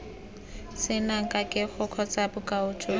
senang kagego kgotsa bokao jo